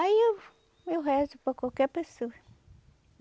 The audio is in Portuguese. Aí eu eu rezo para qualquer pessoa.